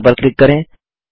okay पर click करें